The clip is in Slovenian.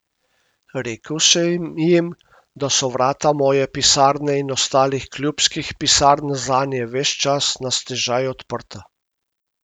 Rekel sem jim, da so vrata moje pisarne in ostalih klubskih pisarn zanje ves čas na stežaj odprta.